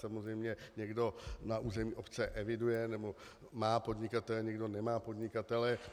Samozřejmě někdo na území obce eviduje nebo má podnikatele, někdo nemá podnikatele.